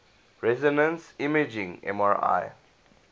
resonance imaging mri